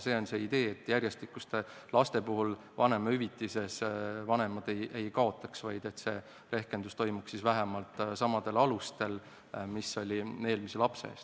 See on see idee, et järjestikuste laste puhul vanemahüvitises vanemad ei kaotaks, vaid rehkendus toimuks siis vähemalt samadel alustel mis eelmise lapse eest.